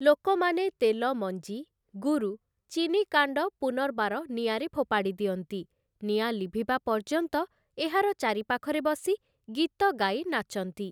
ଲୋକମାନେ ତେଲ ମଞ୍ଜି, ଗୁରୁ, ଚିନି କାଣ୍ଡ ପୁନର୍ବାର ନିଆଁରେ ଫୋପାଡ଼ି ଦିଅନ୍ତି, ନିଆଁ ଲିଭିବା ପର୍ଯ୍ୟନ୍ତ ଏହାର ଚାରିପାଖରେ ବସି ଗୀତ ଗାଇ ନାଚନ୍ତି ।